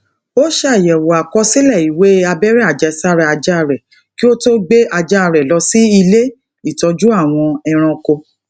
ó ṣàyèwò àkọsílè iwe abẹ́rẹ́ àjẹsára aja re kí ó tó gbé ajá rè lọ sí ilé ìtọ́jú àwọn ẹranko